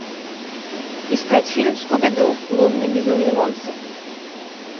искать фильм скуби ду лунный безумный монстр